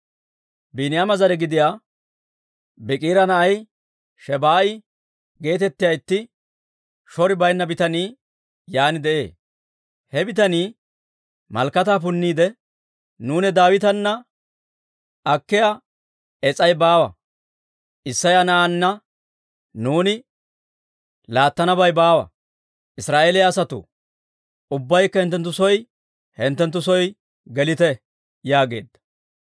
Biiniyaama zare gidiyaa Biikira na'ay Shebaa'a geetettiyaa itti shori baynna bitanii yaan de'ee. He bitanii malakataa punniide, «Nuuni Daawitana akkiyaa es's'ay baawa! Isseya na'aanna nuuni laattanabay baawa! Israa'eeliyaa asatoo, ubbaykka hinttenttu soo hinttenttu soo gelite!» yaageedda.